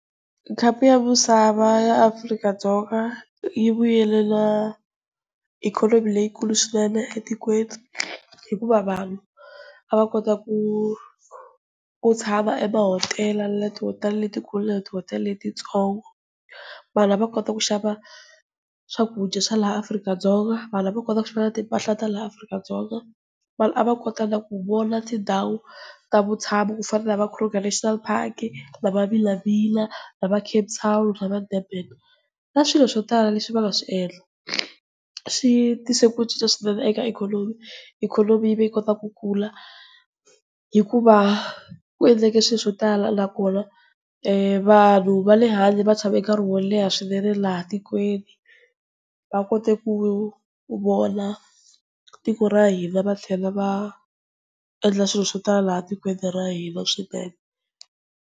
Khapu ya misava ya Afrika-Dzonga yi vuyelela ikhonomi leyikulu swinene etikweni. Hikuva vanhu a va kota ku tshama emahotela na le ti-hotel-a letikulu na le ti-hotel-a letitsongo. Vanhu a va kota ku xava swakudya swa laha Afrika-Dzonga. Vanhu a va kona na ku xava timpahla ta laha Afrika-Dzonga. Vanhu a va kota na ku vona tindhawu ta vutshamo ku fana na va Kruger National Park, na va Vilavila na va Capetown na va Durban. Na swilo swo tala leswi va nga swiendla, swi tise ku cinca swinene eka ikhonomi, ikhonomi yi ve yi kota ku kula. Hikuva ku endleke swi swo tala, nakona vanhu va le handle va tshame nkarhi wo leha swinene laha tikweni, va kota ku vona tiko ra hina va tlhela va endla swilo swo tala laha tikweni ra hina swinene.